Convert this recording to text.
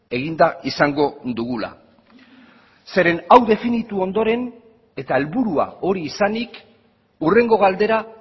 eginda izango dugula zeren hau definitu ondoren eta helburua hori izanik hurrengo galdera